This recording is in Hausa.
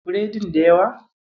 Biredin da yawa?